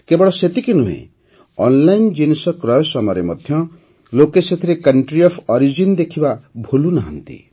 କେବଳ ସେତିକି ନୁହେଁ ଅନ୍ଲାଇନ୍ ଜିନିଷ କ୍ରୟ ସମୟରେ ମଧ୍ୟ ଲୋକେ ସେଥିରେ କଂଟ୍ରି ଅଫ୍ ଅରିଜିନ୍ ଦେଖିବା ଭୁଲୁନାହାନ୍ତି